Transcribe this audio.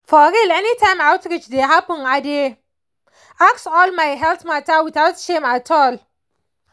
for real anytime outreach dey happen i dey ask all my health matter without shame at all